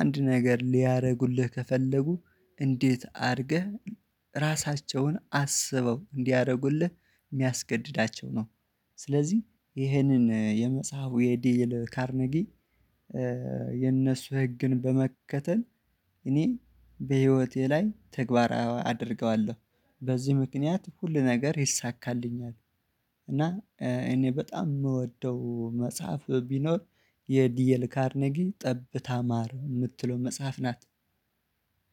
አንድ ነገር ሊያረርጉልህ ከፈለጉ እንዴት አድርገህ ራሳቸውን አስበው እንዲያረጉልህ ሚያስገድዳቸው ነው። ስለዚህ ይሄንን የመጽሐፉ የዲኤል ካርኔጊ የነሱ ህግን በመከተል እኔ በህይወቴ ላይ ተግባር አ አደርገዋለሁ በዚህ ምክንያት ሁሉ ነገር ይሳካልኛል። እና እኔ በጣም ምወደው መጽሐፍ ቢኖር የዲየል ካርኔጊ ጠብታ ማር ምትለው መጽሐፍ ናት።